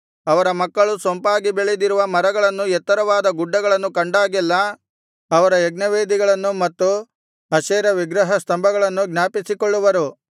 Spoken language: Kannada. ಅವರ ಮಕ್ಕಳು ಸೊಂಪಾಗಿ ಬೆಳೆದಿರುವ ಮರಗಳನ್ನು ಎತ್ತರವಾದ ಗುಡ್ಡಗಳನ್ನು ಕಂಡಾಗೆಲ್ಲಾ ಅವರ ಯಜ್ಞವೇದಿಗಳನ್ನು ಮತ್ತು ಅಶೇರ ವಿಗ್ರಹಸ್ತಂಭಗಳನ್ನು ಜ್ಞಾಪಿಸಿಕೊಳ್ಳುವರು